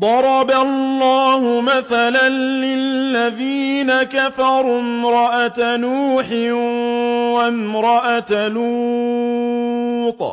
ضَرَبَ اللَّهُ مَثَلًا لِّلَّذِينَ كَفَرُوا امْرَأَتَ نُوحٍ وَامْرَأَتَ لُوطٍ ۖ